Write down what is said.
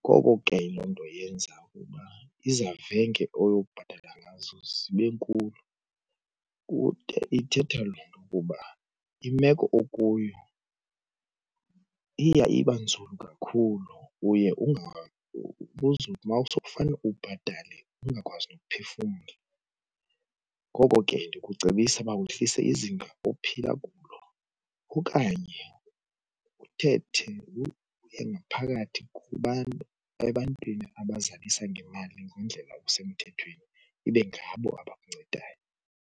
Ngoko ke loo nto yenza ukuba izavenge oyobhatala ngazo zibe nkulu kude ithetha loo nto kuba imeko okuyo iya iba nzulu kakhulu, uye uma sokufanele ubhatale ungakwazi nophefumla. Ngoko ke ndikucebisa ukuba wehlise izinga ophila kulo okanye uthethe ngaphakathi kubantu ebantwini abazalisa ngemali ngendlela usemthethweni, ibe ngabo abakuncedayo.